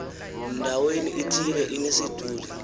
ndaweni ithile inesiduli